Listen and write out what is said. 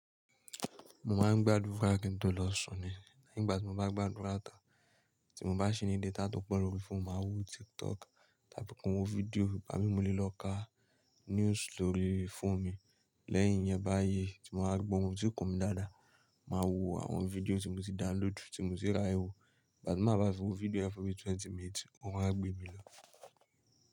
Mo máa ń gbádùra kí n tó lọ sùn ni. Nígbà tí mo bá gbádura tan tí mo bá sí ní data tó pọ̀ lórí fóònù, màá wo TikTok tàbí kí n wo fídíò bá mi múle lọ ká news story fone mi. Lẹ́yìn yẹn báyìí tí mo máa gbó ohun tí kò ní dáadáa, màá wo àwọn fídíò tí mo ti download tí mo ti ri ayeẹ́ wò. Bá ti máa bá fi wo fídíò ẹ fún mi twenty minutes, orun á gbé mi lọ.